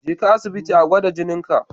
Je ka asibiti a gwada jininka.